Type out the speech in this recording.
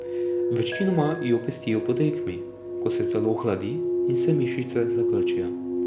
Večinoma jo pestijo po tekmi, ko se telo ohladi in se mišice zakrčijo.